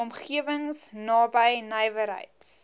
omgewings naby nywerheids